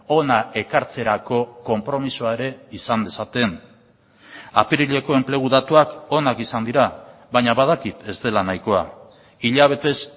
hona ekartzerako konpromisoa ere izan dezaten apirileko enplegu datuak onak izan dira baina badakit ez dela nahikoa hilabetez